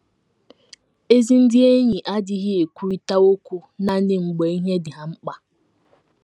Ezi ndị enyi adịghị ekwurịta okwu nanị mgbe ihe dị ha mkpa.